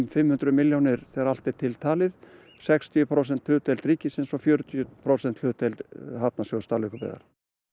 fimm hundruð milljónir þegar allt er til talið sextíu prósent hlutdeild ríkisins og fjörutíu prósent hlutdeild hafnarsjóðs Dalvíkurbyggðar